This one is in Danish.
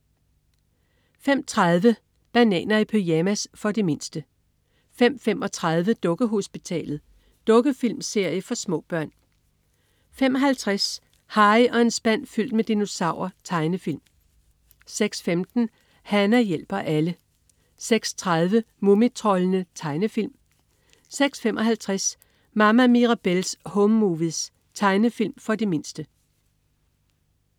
05.30 Bananer i pyjamas. For de mindste 05.35 Dukkehospitalet. Dukkefilmserie for små børn 05.50 Harry og en spand fyldt med dinosaurer. Tegnefilm 06.15 Hana hjælper alle 06.30 Mumitroldene. Tegnefilm 06.55 Mama Mirabelle's Home Movies. Tegnefilm for de mindste